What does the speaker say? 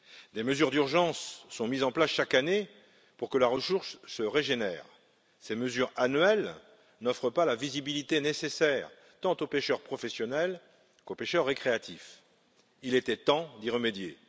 Des mesures d'urgence sont mises en place chaque année pour que la ressource se régénère. Ces mesures annuelles n'offrant pas la visibilité nécessaire tant aux pêcheurs professionnels qu'aux pêcheurs récréatifs, il était temps d'y remédier.